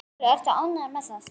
Sólveig: Ertu ánægður með það?